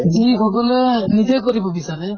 যি সকলোৱে নিজে কৰিব বিছাৰে